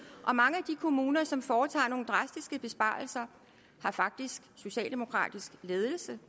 og mange af de kommuner som foretager nogle drastiske besparelser har faktisk socialdemokratisk ledelse